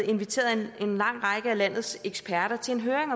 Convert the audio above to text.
inviterede en lang række af landets eksperter til en høring